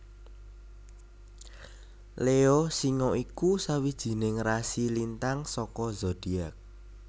Leo Singa iku sawijining rasi lintang saka zodiak